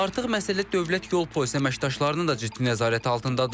Artıq məsələ dövlət yol polisi əməkdaşlarının da ciddi nəzarət altındadır.